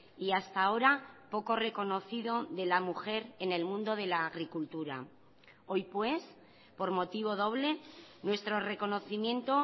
y hasta ahora poco reconocido de la mujer en el mundo de la agricultura hoy pues por motivo doble nuestro reconocimiento